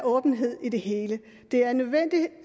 åbenhed i det hele det er nødvendigt